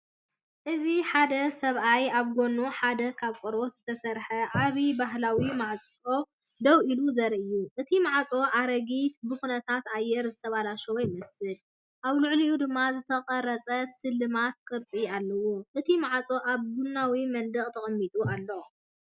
እዚ ሓደ ሰብኣይ ኣብ ጎኒ ሓደ ካብ ቆርበት ዝተሰርሐ ዓቢ ባህላዊ ማዕጾ ደው ኢሉ ዘርኢ እዩ። እቲ ማዕጾ ኣረጊትን ብኹነታት ኣየር ዝተበላሸወን ይመስል፣ ኣብ ልዕሊኡ ድማ ዝተቐርጸን ስልማትን ቅርጽታት ኣለዎ። እቲ ማዕጾ ኣብ ቡናዊ መንደቕ ተቐሚጡ ኣሎ።